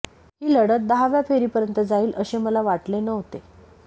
ही लढत दहाव्या फेरीपर्यंत जाईल असे मला वाटले नव्हते